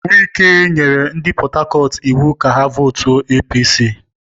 Wike nyere ndị Port Harcourt iwu ka ha vootuo APC!